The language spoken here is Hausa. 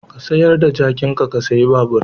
Ka sayar da jakinka ka sayi babur.